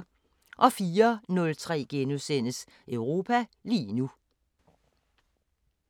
04:03: Europa lige nu *